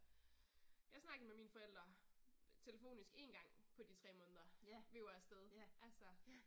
Jeg snakkede med mine forældre telefonisk én gang på de 3 måneder vi var afsted altså